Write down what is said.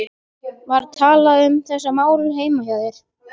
Var talað um þessi mál heima hjá þér?